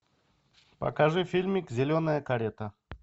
покажи фильмик зеленая карета